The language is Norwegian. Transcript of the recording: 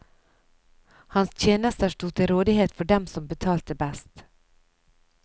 Hans tjenester sto til rådighet for dem som betalte best.